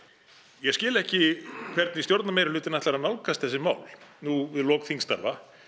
ég skil ekki hvernig stjórnarmeirihlutinn ætlar að nálgast þessi mál nú við lok þingstarfa